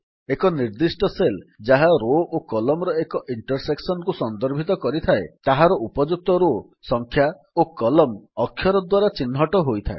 ଏକ ନିର୍ଦ୍ଦିଷ୍ଟ ସେଲ୍ ଯାହା ରୋ ଓ Columnର ଏକ ଇଣ୍ଟରସେକ୍ସନ୍ କୁ ସନ୍ଦର୍ଭିତ କରିଥାଏ ତାହାର ଉପଯୁକ୍ତ ରୋ ସଂଖ୍ୟା ଓ କଲମ୍ନ ଅକ୍ଷର ଦ୍ୱାରା ଚିହ୍ନଟ ହୋଇଥାଏ